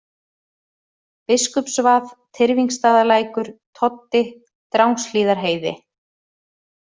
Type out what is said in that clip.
Biskupsvað, Tyrfingsstaðalækur, Toddi, Drangshlíðarheiði